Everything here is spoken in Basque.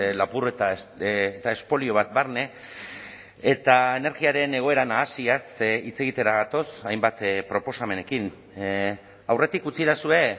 lapurreta eta espolio bat barne eta energiaren egoera nahasiaz hitz egitera gatoz hainbat proposamenekin aurretik utzidazue